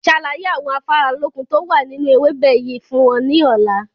Ṣàlàyé àwọn afáralókun tó wà nínú ewébẹ̀ yìí fún wọn ní ọ̀la!